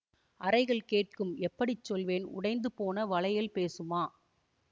அறைகள் கேட்கும் எப்படி சொல்வேன் உடைந்து போன வளையல் பேசுமா